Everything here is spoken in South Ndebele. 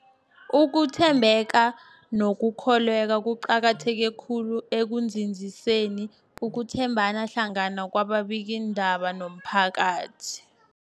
Ukuthembeka nokukholweka kuqakatheke khulu ekunzinziseni ukuthembana hlangana kwababikiindaba nomphakathi.